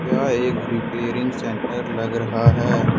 यह एक repairing centre लग रहा है।